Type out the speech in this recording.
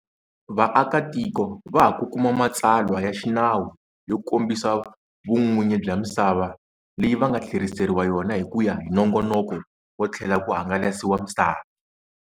Vaakatiko va ha ku kuma matsalwa ya xinawu yo kombisa vun'winyi bya misava leyi va nga tlheriseriwa yona hi ku ya hi nongonoko wo tlhela ku hangalasiwa misava.